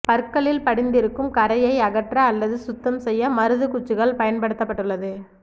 பற்களில் படிந்திருக்கும் கரையை அகற்ற அல்லது சுத்தம் செய்ய மருது குச்சிகள் பயன்படுத்தப்பட்டுள்ளது